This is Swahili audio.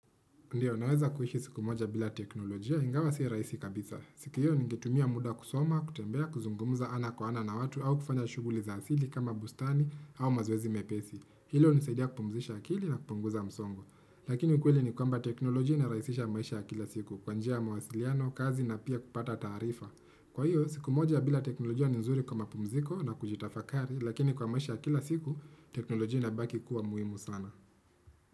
Ndio, naweza kuishi siku moja bila teknolojia, ingawa si rahisi kabisa. Siku hiyo ningetumia muda kusoma, kutembea, kuzungumuza ana kwa ana na watu, au kufanya shughuli za asili kama bustani au mazoezi mepesi. Hilo hunisaidia kupumzisha akili na kupunguza msongo. Lakini ukweli ni kwamba teknolojia inarahisisha maisha ya kila siku, kwa njia ya mawasiliano, kazi na pia kupata taarifa. Kwa hiyo, siku moja bila teknolojia ni nzuri kwa mapumziko na kujitafakari, Lakini kwa maisha ya kila siku, teknolojia inabaki kuwa muhimu sana.